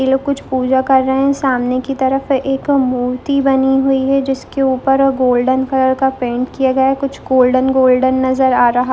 इन लोग कुछ पूजा कर रहे हैं सामने के तरफ एक मूर्ति बनी हुई है जिसके ऊपर एक गोल्डन कलर का पेंट किया गया है जो गोल्डन-गोल्डन नजर आ रहा है।